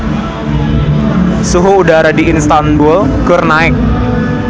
Suhu udara di Istanbul keur naek